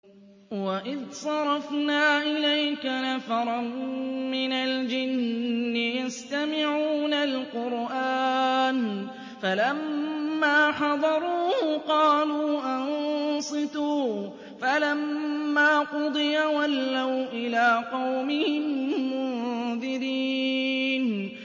وَإِذْ صَرَفْنَا إِلَيْكَ نَفَرًا مِّنَ الْجِنِّ يَسْتَمِعُونَ الْقُرْآنَ فَلَمَّا حَضَرُوهُ قَالُوا أَنصِتُوا ۖ فَلَمَّا قُضِيَ وَلَّوْا إِلَىٰ قَوْمِهِم مُّنذِرِينَ